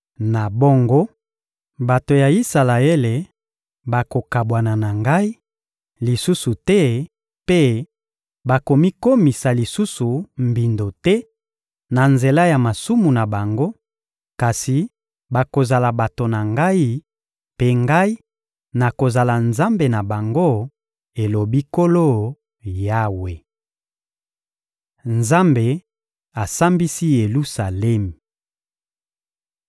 Na bongo, bato ya Isalaele bakokabwana na Ngai lisusu te mpe bakomikomisa lisusu mbindo te na nzela ya masumu na bango; kasi bakozala bato na Ngai, mpe Ngai, nakozala Nzambe na bango, elobi Nkolo Yawe.›» Nzambe asambisi Yelusalemi